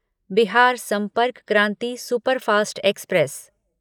Bihar Sampark Kranti superfast express